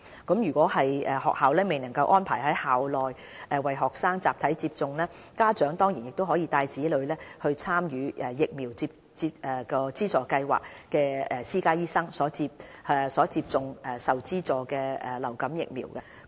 倘若學校未能安排在校內為學生集體接種疫苗，家長當然亦可帶同子女到參與疫苗資助計劃的私家醫生診所接種受資助的流感疫苗。